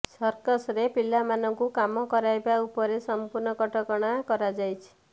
circus ରେ ପିଲାମାନଙ୍କୁ କାମ କରାଇବା ଉପରେ ସଂପୂର୍ଣ୍ଣ କଟକଣା କରାଯାଇଛି